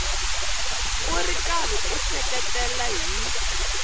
ri karhi u seketela hi